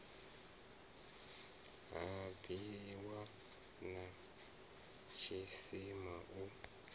ha bwiwa na tshisima u